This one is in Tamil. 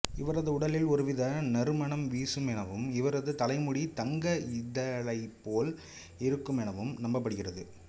இவரது உடலில் ஒருவித நறுமணம் வீசுமெனவும் இவரது தலைமுடி தங்க இழைபோல் இருக்குமெனவும் நம்பப்படுகிறது